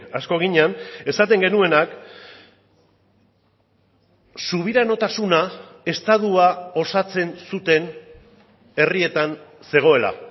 asko ginen esaten genuenak subiranotasuna estatua osatzen zuten herrietan zegoela